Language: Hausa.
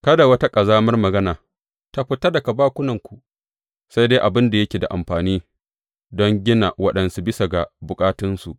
Kada wata ƙazamar magana ta fita daga bakunanku, sai dai abin da yake da amfani don gina waɗansu bisa ga bukatunsu.